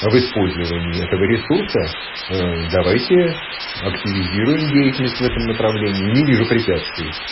об использовании этого ресурса давайте активизируем деятельность в этом направлении не вижу препятствий